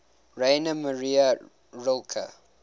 rainer maria rilke